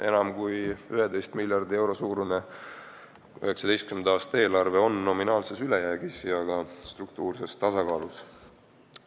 Enam kui 11 miljardi euro suurune 2019. aasta eelarve on nominaalses ülejäägis ja ka struktuurses tasakaalus.